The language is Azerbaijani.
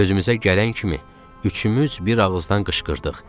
Özümüzə gələn kimi üçümüz bir ağızdan qışqırdıq.